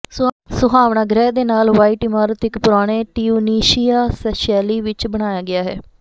ਸੁਹਾਵਣਾ ਗ੍ਰਹਿ ਦੇ ਨਾਲ ਵਾਈਟ ਇਮਾਰਤ ਇੱਕ ਪੁਰਾਣੇ ਟਿਊਨੀਸ਼ਿਆ ਸ਼ੈਲੀ ਵਿੱਚ ਬਣਾਇਆ ਗਿਆ ਹੈ